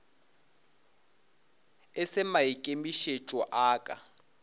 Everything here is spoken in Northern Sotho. e se maikemišetšo a ka